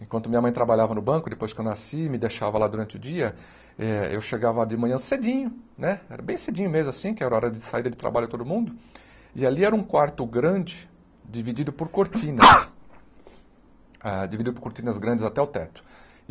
Enquanto minha mãe trabalhava no banco, depois que eu nasci, me deixava lá durante o dia, eu chegava de manhã cedinho, né, era bem cedinho mesmo assim, que era hora de sair de trabalho todo mundo, e ali era um quarto grande dividido por cortinas, dividido por cortinas grandes até o teto.